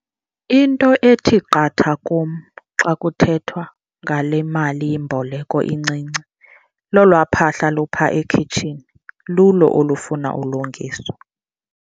Into ethi qatha kum xa kuthethwa ngale malimboleko incinci lolwaa phahla lupha ekhitshini, lulo olufuna ukulungiswa.